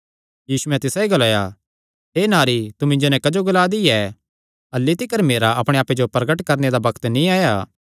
यीशुयैं तिसायो ग्लाया हे नारी तू मिन्जो नैं क्जो ग्ला दी ऐ अह्ल्ली तिकर मेरा अपणे आप्पे जो प्रगट करणे दा बग्त नीं आया